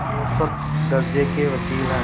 औसत दर्ज़े के वक़ील हैं